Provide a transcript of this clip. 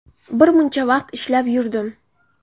Bir muncha vaqt ishlab yurdim.